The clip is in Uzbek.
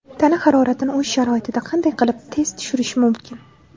Tana haroratini uy sharoitida qanday qilib tez tushirish mumkin?.